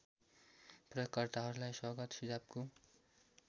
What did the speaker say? प्रयोगकर्ताहरूलाई स्वागत सुझावको